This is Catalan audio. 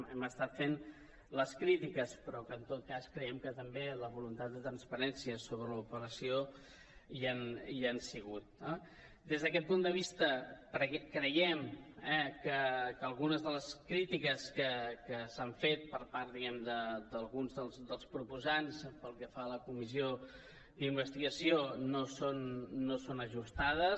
hem estat fent les crítiques però en tot cas creiem que també la voluntat de transparència sobre l’operació hi ha sigut no des d’aquest punt de vista creiem que algunes de les crítiques que s’han fet per part diguem ne d’alguns dels proposants pel que fa a la comissió d’investigació no són ajustades